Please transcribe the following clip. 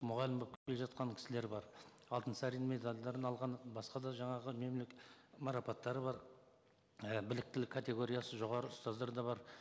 мұғалім болып келе жатқан кісілер бар алтынсарин медальдерін алған басқа да жаңағы марапаттары бар і біліктілік категориясы жоғары ұстаздар да бар